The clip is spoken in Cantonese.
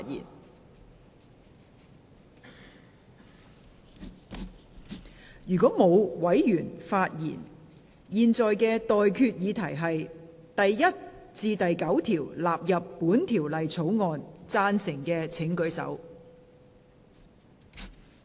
我現在向各位提出的待決議題是：第1至9條納入本條例草案。